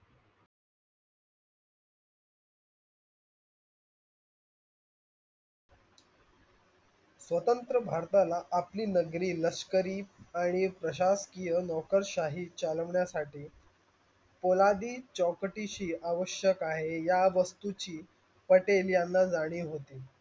स्वतंत्र भारताला आपली नगरी लसकरी प्राशाषकीय नोकरसाही चलवण्यासटी पोलादी चौकटीसी आवश्य आहे या वस्तूची पटेल यांना जाणीव होती.